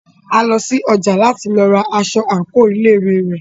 A lọ sí ọjà láti lọ ra aṣọ àńkò ilé ìwé rẹ̀.